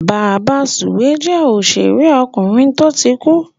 Bàbasùwé jẹ́ òṣèrékùnrin tó ti kú.